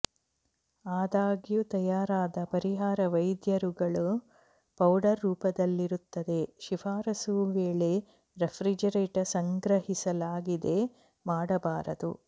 ಆದಾಗ್ಯೂ ತಯಾರಾದ ಪರಿಹಾರ ವೈದ್ಯರುಗಳು ಪೌಡರ್ ರೂಪದಲ್ಲಿರುತ್ತದೆ ಶಿಫಾರಸು ವೇಳೆ ರೆಫ್ರಿಜಿರೇಟರ್ ಸಂಗ್ರಹಿಸಲಾಗಿದೆ ಮಾಡಬಾರದು